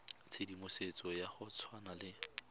tshedimosetso ya go tshwana le